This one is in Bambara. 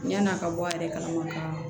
Yan'a ka bɔ a yɛrɛ kalama ka